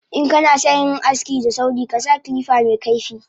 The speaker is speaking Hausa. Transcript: Inkanasan yin aski da sauri kasa kilifa mekaifi